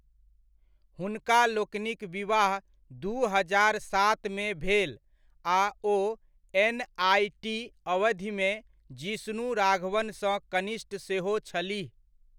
हुनका लोकनिक विवाह दू हजार सातमे भेल, आ ओ एन.आइ.टी. अवधिमे जिष्णु राघवनसँ कनिष्ठ सेहो छलीह।